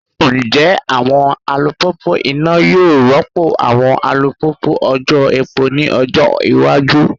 Njẹ awọn alupupu ina yoo rọpo awọn alupupu ojò epo ni ọjọ iwaju?